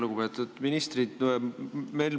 Lugupeetud ministrid!